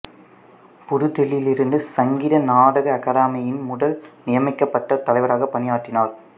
புது தில்லியிலிருந்த சங்கீத நாடக அகாதமியின் முதல் நியமிக்கப்பட்ட தலைவராக பணியாற்றினார்